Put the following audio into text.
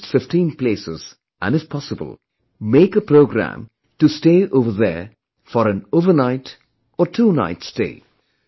At least 15 places and if possible, make a program to stay over there for an overnight, twonight stay